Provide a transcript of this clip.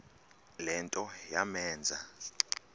le nto yamenza